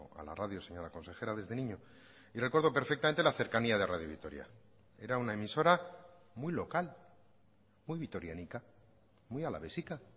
a la radio señora consejera desde niño y recuerdo perfectamente la cercanía de radio vitoria era una emisora muy local muy vitoriánica muy alavésica